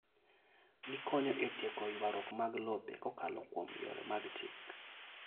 Gikonyo e tieko ywaruok mag lope kokalo kuom yore mag chik.